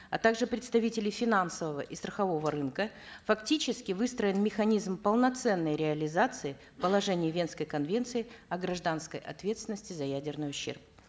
а также представителей финансового и страхового рынка фактически выстроен механизм полноценной реализации положений венской конвенции о гражданской ответственности за ядерный ущерб